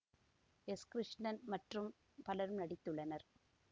S Krishnan மற்றும் பலரும் நடித்துள்ளனர்